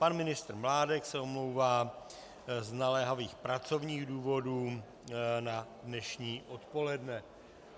Pan ministr Mládek se omlouvá z naléhavých pracovních důvodů na dnešní odpoledne.